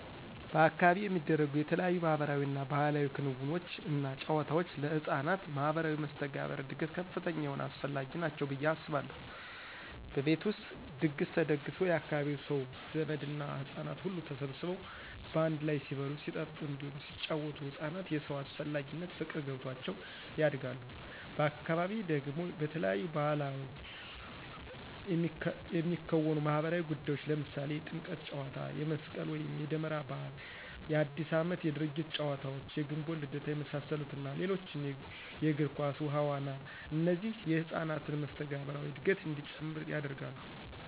በአካባቢው የሚደረጉ የተለያዩ ማህበራዊ እና ባህላዊ ክንውኖች እና ጫወታወች ለህፃናት ማህበራዊ መስተጋብር እድገት ከፍተኛ የሆነ አስፈላጊ ናቸው ብየ አስባለሁ። በቤት ውስጥ ድግስ ተደግሶ የአካባቢው ሰው፣ ዘመድ እና ህጻናት ሁሉ ተሰባስበው በአንድ ላይ ሲበሉ ሲጠጡ እንዲሁም ሲጪወቱ ህፃናት የሰው አስፈላጊነት ፍቅር ገብቷቸው ያድጋሉ፤ በአካባቢ ደግሞ በተለያዩ ባዕላቶች የሚከወኑ ማህበራዊ ጉዳዮች ለምሳሌ የጥምቀት ጫዎታ፣ የመስቅል ወይም የደመራ በዓል፣ የአዲስ አመት የድርጊት ጨዋታዎች፣ የግንቦት ልደታ የመሳሰሉት እና ሌሎችም የግር ኳስ፣ ውሀ ዋና እነዚህ የህፃናትን መስተጋብራዊ እድገት እንዲጨምር ያደርጋሉ።